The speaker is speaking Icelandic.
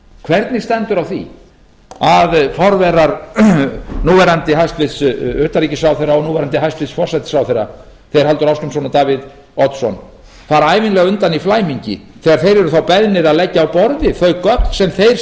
hvernig stendur á því að forverar núv hæstvirts utanríkisráðherra og núv hæstvirtur forsætisráðherra þeir halldór ásgrímsson og davíð oddsson fara ævinlega undan í flæmingi þegar þeir eru þá beðnir að leggja á borðið þau gögn sem þeir